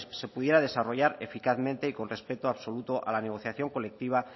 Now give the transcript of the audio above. se pudiera desarrollar eficazmente y con respeto absoluto a la negociación colectiva